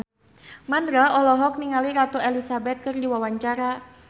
Mandra olohok ningali Ratu Elizabeth keur diwawancara